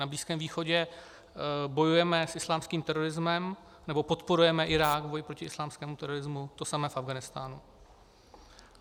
Na Blízkém východě bojujeme s islámským terorismem, nebo podporujeme Irák v boji proti islámskému terorismu, to samé v Afghánistánu.